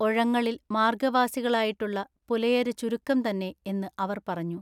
ഒഴങ്ങളിൽ മാർഗ്ഗവാസികളായിട്ടുള്ള പുലയർ ചുരുക്കം തന്നെ എന്നു അവർ പറഞ്ഞു.